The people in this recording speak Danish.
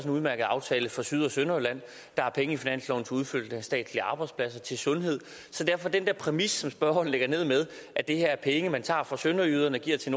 en udmærket aftale for syd og sønderjylland der er penge i finansloven til udflytning af statslige arbejdspladser og til sundhed så den der præmis som spørgeren lægger ned med at det her er penge man tager fra sønderjyderne og giver til